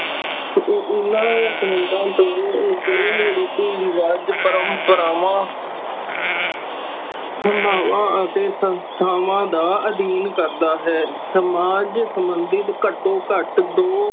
ਓਹਨਾ ਸੰਬੰਧਾ ਤੋਂ ਨਿਕਲੇ ਰੀਤੀ ਰਿਵਾਜ਼ ਪ੍ਰੰਪ੍ਰਾਵਾਂ ਤੇ ਸੰਸਥਾਵਾ ਦਾ ਅਧੀਨ ਕਰਦਾ ਹੈ ਸਮਾਜ ਸੰਬੰਧਿਤ ਘਟੋ ਘੱਟ ਦੋ